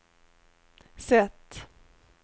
sätt